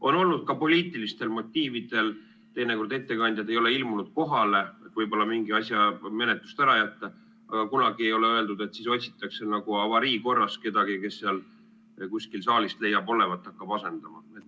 On olnud ka nii, et poliitilistel motiividel ei ole teinekord ettekandjad kohale ilmunud, et võib-olla mingi asja menetlust ära jätta, aga kunagi ei ole öeldud, et siis otsitakse nagu avariikorras keegi saalist, kes hakkab asendama.